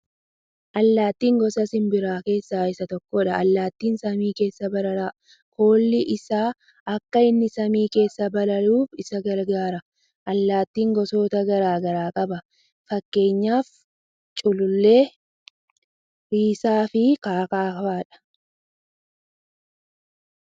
Allaattiin gosa simbiraa keessaa isa tokkodha. Allaattiin samii keessa barara. Koolli isaa akka inni samii keessa bararuuf isa gargaara. Allattiin gosoota garaa garaa qaba. Fakkeenyaaf culullee, Risaa fi k.k.f dha.